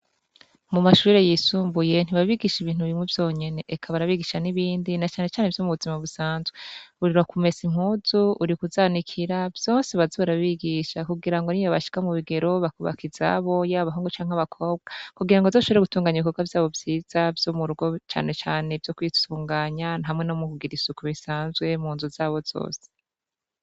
Mumashure yisumbuye ntibabigisha ibintu bimwe vyonyene, eka barabigisha n'ibindi na canecane vyo mubuzima busanzwe uri kumesa impuzu uri kuzanikira vyose baze barabigisha kugirango nibashika mubigero bakubaka izabo yaba abahungu canke abakobwa kugirango bazoshobore gutunganya ibikogwa vyabo vyiza vyo murugo canecane kwisuganya hamwe nomukugira isuku munzu zabo zose.